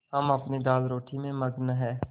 हम अपनी दालरोटी में मगन हैं